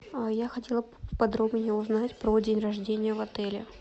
я хотела подробнее узнать про день рождения в отеле